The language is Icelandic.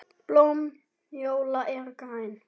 Blóm njóla eru græn.